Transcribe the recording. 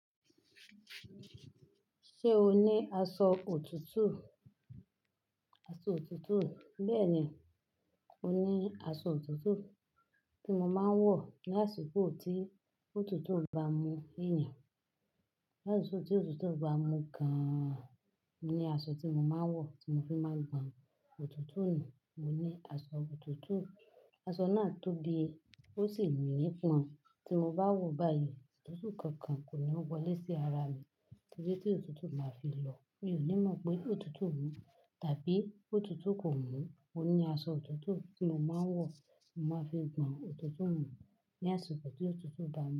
Ṣé o ní aṣọ òtútù? Aṣọ òtútù. Bẹ́ẹ̀ ni, mo ní aṣọ òtútù tí mo máa ń wọ̀ ní àsìkò tí òtútù bá mú ènìyàn. Lásíko tí òtútù bá mú gan, mo ní aṣọ tí mo máa ń wọ̀, tí mo fi máa ń gbàn òtútù nù. Mo ní aṣọ òtútù, aṣọ náà tóbi ó sì mí nípan, tí mo bá wọ̀ báyìí, òtútù kankan kò ní wọlé sí ara mi. Torí tí òtútù bá fi lọ̀, mi ò ní mọ̀ pé òtútù mú tàbí òtútù kò mú. Mo ní aṣọ òtútù tí mo máa ń wọ̀, mo máa fi gbàn òtútù nù ní àsìkò tí òtútù bá mú.